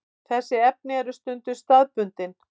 Þessi efni eru stundum staðbundin.